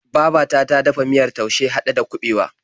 Babata ta dafa miyar taushe haɗe da kabewa.